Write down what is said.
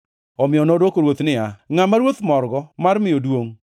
Omiyo nodwoko ruoth niya, “Ngʼama ruoth morgo mar miyo duongʼ,